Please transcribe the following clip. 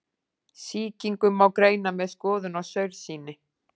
Sýkingu má greina með skoðun á saursýni.